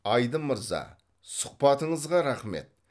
айдын мырза сұхбатыңызға рақмет